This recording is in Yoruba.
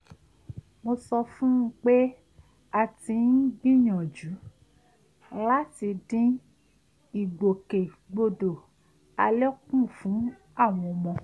mo sọ fún un pé a ti ń gbìyànjú láti dín ìgbòkègbodò alẹ kù fún àwọn ọmọ